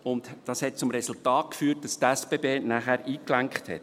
Dies führte zum Resultat, dass die SBB nachher einlenkte.